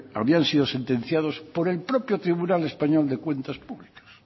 habían sido sentenciados por el propio tribunal español de cuentas públicas